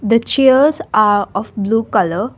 the chairs are of blue colour.